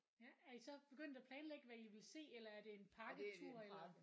Ja er I så begyndt at planlægge hvad I vil se eller er det en pakketur eller